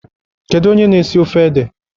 Kedu onye na-esi ofe ede?